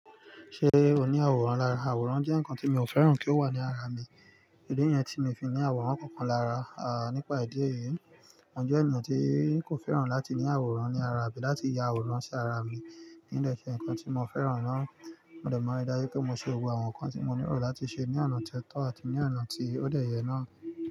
Ṣé o ní àwòrán lára? Àwòrán jẹ́ nǹkan tí mò fẹ́ràn kí ó wà ní ara mi. Idi ni yẹn tí mi fi ní àwòrán kankan lára, à nípa ìdí èyí, mo jẹ́ ènìyàn tí kò fẹ́ràn láti ní àwòrán ní ara bí láti ya àwòrán sí ara mi. Ní dẹ̀ ṣe nǹkan tí mo fẹ́ràn mọ́, mo dẹ̀ mọ̀ ní ìdájú pé mo ṣe gbogbo àwọn nǹkan tí mo nílò láti ṣe ní àná tí ẹ́ tọ́ àti ní àná tí ó dẹ̀ yẹ náà.